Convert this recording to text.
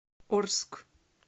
орск